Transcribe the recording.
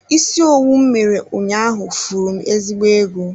Isi owu m mere ụnyaahụ furu m ezigbo ego.